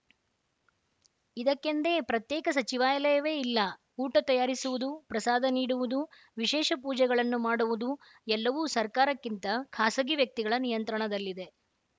ಇದಕ್ಕೆಂದೇ ಪ್ರತ್ಯೇಕ ಸಚಿವಾಯಲವೇ ಇಲ್ಲ ಊಟ ತಯಾರಿಸುವುದು ಪ್ರಸಾದ ನೀಡುವುದು ವಿಶೇಷ ಪೂಜೆಗಳನ್ನು ಮಾಡುವುದು ಎಲ್ಲವೂ ಸರ್ಕಾರಕ್ಕಿಂತ ಖಾಸಗಿ ವ್ಯಕ್ತಿಗಳ ನಿಯಂತ್ರಣದಲ್ಲಿದೆ